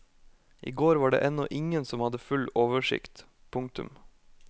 I går var det ennå ingen som hadde full oversikt. punktum